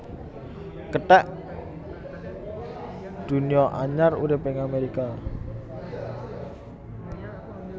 Kethek Dunia anyar urip ing Amerika